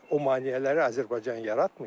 O maneələri Azərbaycan yaratmayıb.